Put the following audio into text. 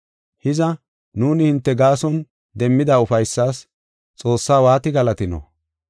Hiza, nuuni hinte gaason demmida ufaysas Xoossaa waati galatino?